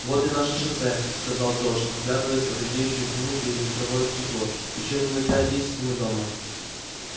вот и наше шоссе сказал джордж вглядываясь в редеющую тьму через ветровое стекло ещё минут пять десять и мы дома